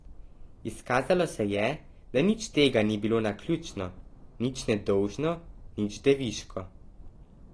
Izkazalo se je, da nič tega ni bilo naključno, nič nedolžno, nič deviško.